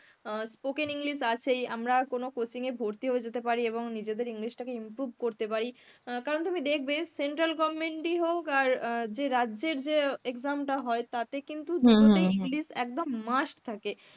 অ্যাঁ spoken English আছেই আমরা কোনো coaching এ ভর্তি হয়ে যেতে পারি এবং নিজেদের English টাকে improve করতে পারি. কারন তুমি দেখবে central government ই হোক আর অ্যাঁ যে রাজ্যের যে exam টা হয় তাতে কিন্তু দুটোতেই English একদম must থাকে.